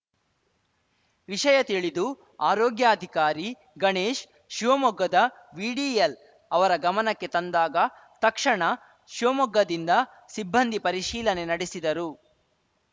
ವಿಷಯ ತಿಳಿದು ಆರೋಗ್ಯಾಧಿಕಾರಿ ಗಣೇಶ್‌ ಶಿವಮೊಗ್ಗದ ವಿಡಿಎಲ್‌ ಅವರ ಗಮನಕ್ಕೆ ತಂದಾಗ ತಕ್ಷಣಾ ಶಿವಮೊಗ್ಗದಿಂದ ಸಿಬ್ಬಂದಿ ಪರಿಶೀಲನೆ ನಡೆಸಿದರು